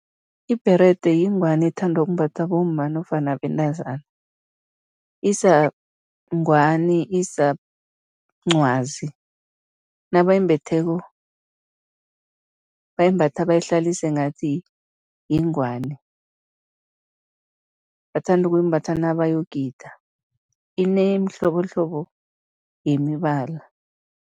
Ibherede yingwani ethandwa ukumbathwa bomma nofana bentazana, isa ngwani, isa mncwazi. Nabayimbetheko, bayimbatha bayihlalise ngathi yingwani, bathanda ukuyimbatha nabayogida, inemihlobohlobo yemibala.